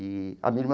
E a minha irmã.